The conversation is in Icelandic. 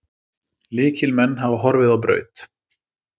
Lykilmenn hafa horfið á braut.